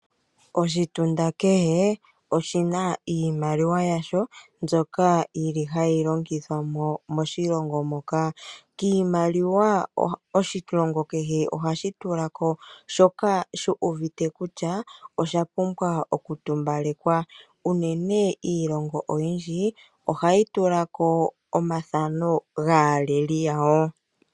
Oshitunda kehe oshina iimaliwa yasho, mbyoka yili hayi longithwa moshilongo moka . Kiimaliwa oshilongo kehe ohashi tulako shoka shuuvite kutya oshapumbwa okutumbalekwa, unene iilongo oyindji ohayi tula ko omafano gaaleli yawo.